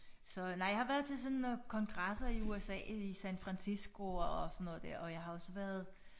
Så nej jeg har været til sådan kongresser i USA i San Fransisco og sådan noget der og jeg har også været